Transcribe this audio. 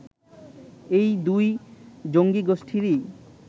এই দুই জঙ্গীগোষ্ঠীরই